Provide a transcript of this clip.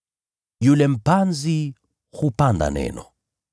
Yule mpanzi hupanda neno.